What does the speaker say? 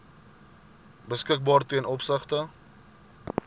beskikbaar ten opsigte